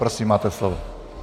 Prosím, máte slovo.